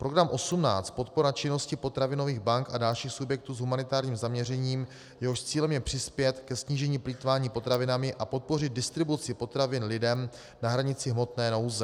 program 18 Podpora činnosti potravinových bank a dalších subjektů s humanitárním zaměřením, jehož cílem je přispět ke snížení plýtvání potravinami a podpořit distribuci potravin lidem na hranici hmotné nouze.